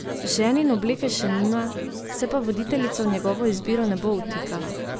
Ženin obleke še nima, se pa voditeljica v njegovo izbiro ne bo vtikala.